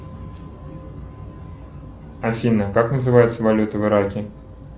афина как называется валюта в ираке